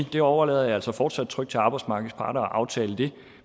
det overlader jeg altså fortsat trygt til arbejdsmarkedets parter at aftale